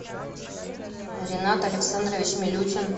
ринат александрович милютин